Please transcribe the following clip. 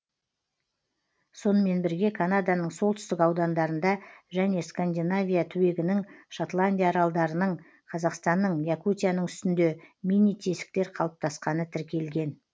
сонымен бірге канаданың солтүстік аудандарында және скандинавия түбегінің шотландия аралдарының қазақстанның якутияның үстінде мини тесіктер қалыптасқаны тіркелген